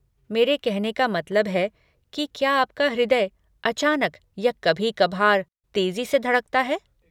मेरे कहने का मतलब है कि क्या आपका हृदय अचानक या कभी कभार तेजी से धड़कता है?